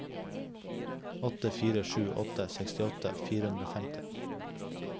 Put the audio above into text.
åtte fire sju åtte sekstiåtte fire hundre og femti